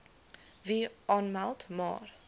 wil aanmeld maar